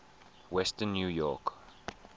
western new york